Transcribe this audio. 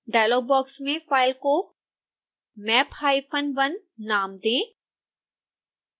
dialogue box में file को map hyphen 1 नाम दें